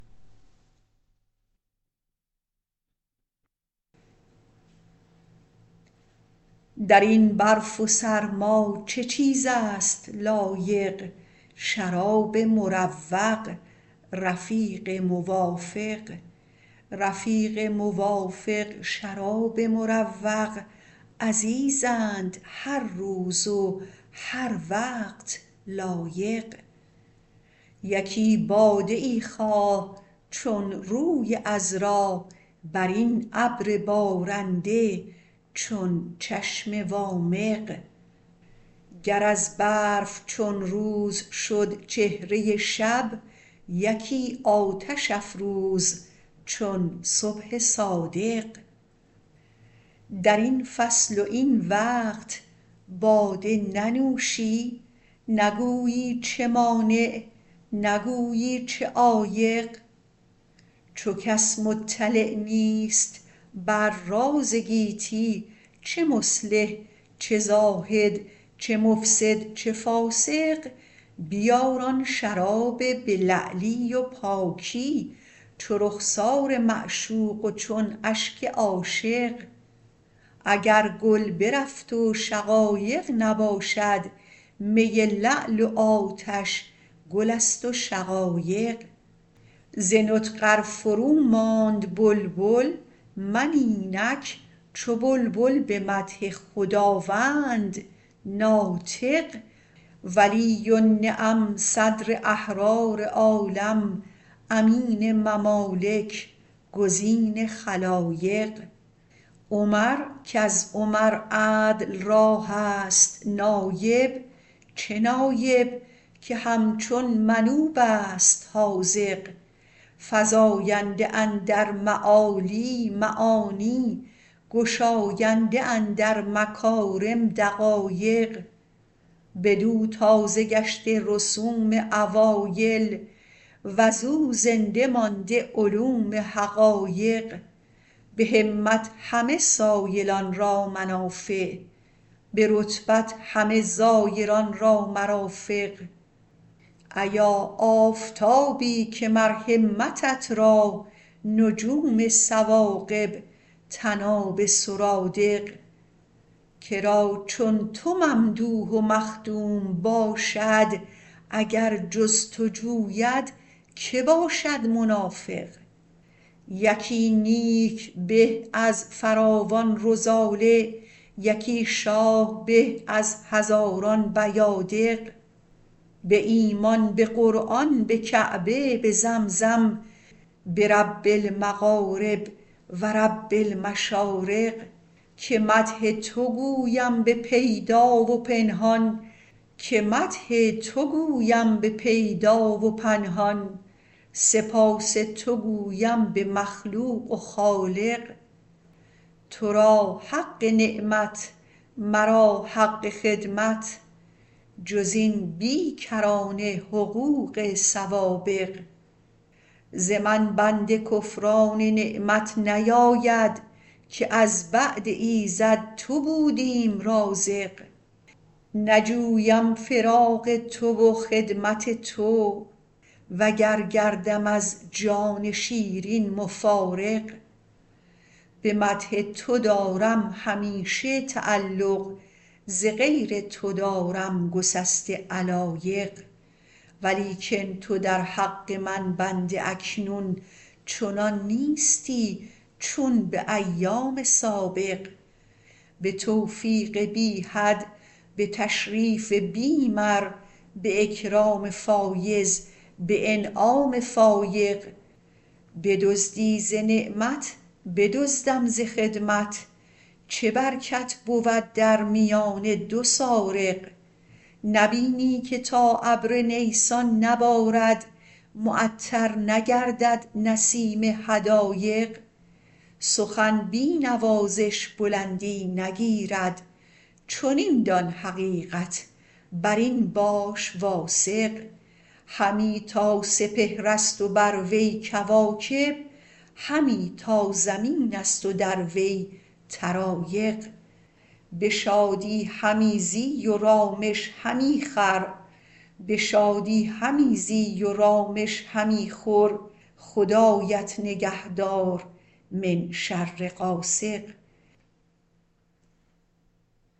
در این برف و سرما چه چیز است لایق شراب مروق رفیق موافق رفیق موافق شراب مروق عزیزند هر روز و هر وقت لایق یکی باده ای خواه چون روی عذرا بر این ابر بارنده چون چشم وامق گر از برف چون روز شد چهره شب یکی آتش افروز چون صبح صادق در این فصل و این وقت باده ننوشی نگویی چه مانع نگویی چه عایق چو کس مطلع نیست بر راز گیتی چه مصلح چه زاهد چه مفسد چه فاسق بیار آن شرابی به لعلی و پاکی چو رخسار معشوق و چون اشک عاشق اگر گل برفت و شقایق نباشد می لعل و آتش گل است و شقایق ز نطق ار فرو ماند بلبل من اینک چو بلبل به مدح خداوند ناطق ولی النعم صدر احرار عالم امین ممالک گزین خلایق عمر کز عمر عدل را هست نایب چه نایب که همچون منوب است حاذق فزاینده اندر معالی معانی گشاینده اندر مکارم دقایق بدو تازه گشته رسوم اوایل وز او زنده مانده علوم حقایق به همت همه سایلان را منافع به رتبت همه زایران را مرافق ایا آفتابی که مر همتت را نجوم ثواقب طناب سرادق کرا چون تو ممدوح و مخدوم باشد اگر جز تو جوید که باشد منافق یکی نیک به از فراوان رذاله یکی شاه به از هزاران بیادق به ایمان به قرآن به کعبه به زمزم برب المغارب و رب المشارق که مدح تو گویم به پیدا و پنهان سپاس تو گویم به مخلوق و خالق تو را حق نعمت مرا حق خدمت جز این بی کرانه حقوق سوابق ز من بنده کفران نعمت نیاید که از بعد ایزد تو بودیم رازق نجویم فراق تو و خدمت تو وگر گردم از جان شیرین مفارق به مدح تو دارم همیشه تعلق ز غیر تو دارم گسسته علایق ولیکن تو در حق من بنده اکنون چنان نیستی چون به ایام سابق به توفیق بی حد به تشریف بی مر به اکرام فایض به انعام فایق بدزدی ز نعمت بدزدم ز خدمت چه برکت بود در میان دو سارق نبینی که تا ابر نیسان نبارد معطر نگردد نسیم حدایق سخن بی نوازش بلندی نگیرد چنین دان حقیقت بر این باش واثق همی تا سپهرت و بر وی کواکب همی تا زمین است و در وی طرایق به شادی همی زی و رامش همی خور خدایت نگهدار من شر غاسق